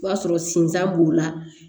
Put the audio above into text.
O b'a sɔrɔ sinsan b'o la